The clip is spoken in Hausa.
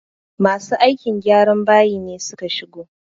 Masu aikin gyran bayi ne suka shigo